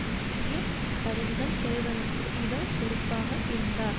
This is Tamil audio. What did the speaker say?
முக்கிய பதவிகள் பெறுவதற்கு இவர் பொறுப்பாக இருந்தார்